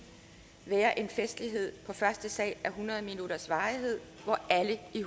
være en festlighed på første sal af hundrede minutters varighed hvor alle i